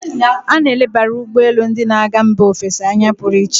A na-elebara ugbọ elu ndị na-aga mba ofesi anya pụrụ iche.